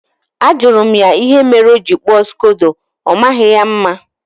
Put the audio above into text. Ajụrụ m ya ihe mere o ji kpụọ Skodo, ọmaghị ya mma